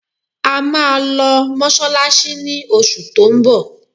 A máa lọ Mọ́ṣáláṣí ni oṣù tó ń bọ̀